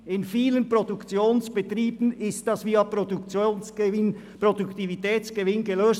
In vielen Produktionsbetrieben wurde das Problem der Wettbewerbsfähigkeit via Produktivitätsgewinn gelöst.